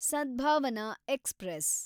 Sadbhavana express